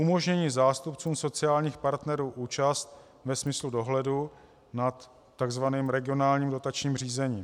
Umožnění zástupcům sociálních partnerů účast ve smyslu dohledu nad tzv. regionálním dotačním řízením.